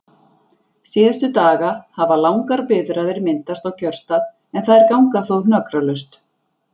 Síðustu daga hafa langar biðraðir myndast á kjörstað en þær ganga þó hnökralaust.